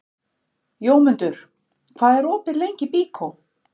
Jómundur, hvað er opið lengi í Byko?